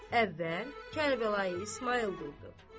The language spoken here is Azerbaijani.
Əvvəl Kərbəlayı İsmayıl durdu.